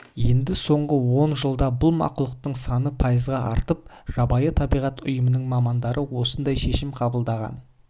енді соңғы он жылда бұл мақұлықтың саны пайызға артып жабайы табиғат ұйымының мамандары осындай шешім қабылдаған